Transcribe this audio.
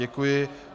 Děkuji.